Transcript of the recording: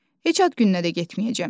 Heç ad gününə də getməyəcəm.